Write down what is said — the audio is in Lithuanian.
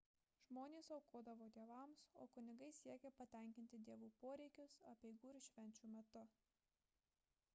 žmonės aukodavo dievams o kunigai siekė patenkinti dievų poreikius apeigų ir švenčių metu